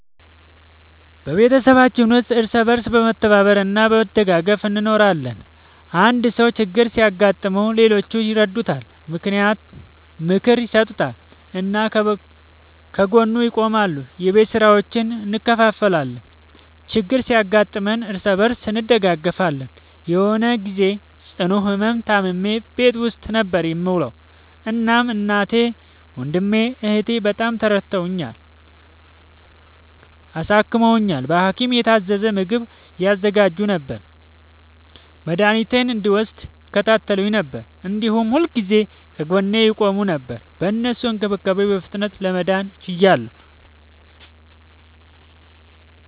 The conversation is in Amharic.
በቤተሰባችን ውስጥ እርስ በርስ በመተባበር እና በመደጋገፍ እንኖራለን። አንድ ሰው ችግር ሲያጋጥመው ሌሎቹ ይረዱታል፣ ምክር ይሰጡታል እና ከጎኑ ይቆማሉ። የቤት ስራዎችን እንከፋፈላለን፣ ችግር ሲያጋጥምም እርስ በርስ እንደጋገፋለን። የሆነ ግዜ ጽኑ ህመም ታምሜ ቤት ውስጥ ነበር የምዉለዉ። እናም እናቴ፣ ወንድሜ፣ እህቴ፣ በጣም ረድተዉኛል፣ አሳክመዉኛል። በሀኪም የታዘዘ ምግብ ያዘጋጁ ነበር፣ መድኃኒቴን እንድወስድ ይከታተሉኝ ነበር፣ እንዲሁም ሁልጊዜ ከጎኔ ይቆሙ ነበር። በእነሱ እንክብካቤ በፍጥነት ለመዳን ችያለሁ።